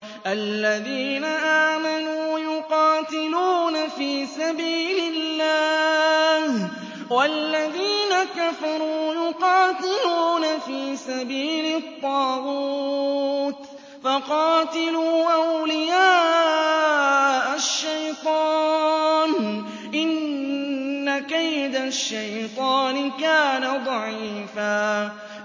الَّذِينَ آمَنُوا يُقَاتِلُونَ فِي سَبِيلِ اللَّهِ ۖ وَالَّذِينَ كَفَرُوا يُقَاتِلُونَ فِي سَبِيلِ الطَّاغُوتِ فَقَاتِلُوا أَوْلِيَاءَ الشَّيْطَانِ ۖ إِنَّ كَيْدَ الشَّيْطَانِ كَانَ ضَعِيفًا